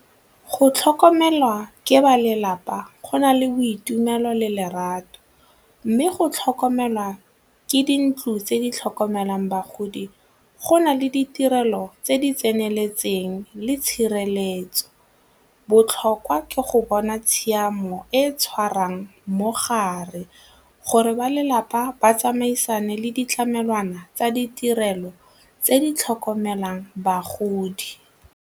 Go tlhokomelwa ke ba lelapa go na le boitumelo le lerato mme go tlhokomelwa ke dintlo tse di tlhokomelang bagodi go na le ditirelo tse di tseneletseng le tshireletso. Botlhokwa ke go bona tshiamo e tshwarang mogare gore ba lelapa ba tsamaisane le ditlamelwana tsa ditirelo tse di tlhokomelang bagodi.